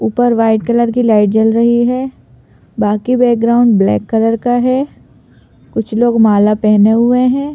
ऊपर white colour की light जल रही है बाकी बैकग्राउंड ब्लैक कलर का है कुछ लोग माला पहने हुए हैं।